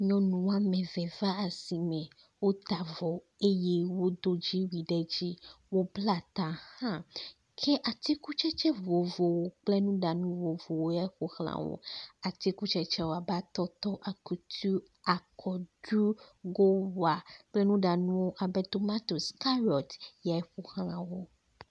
Nyɔnu wome eve va asi me. Wota avɔ eye wodo dziwui ɖe dzi. Wobla tã hã ke atikutsetse vovovo kple nuɖanu vovovo kple nuɖanu vovovowo ƒo xlã wo. Atikutsetsewo abe atɔtɔ, akutu, akɔɖu, gowa kple nuɖanu abe tomatosi, karot ye ƒoxlã wo.